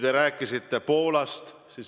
Te rääkisite Poolast.